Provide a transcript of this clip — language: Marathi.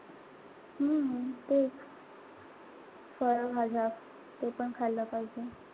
हम्म तेच. फळभाज्या तेपण खाल पाहिजे.